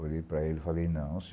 Olhei para ele e falei, não,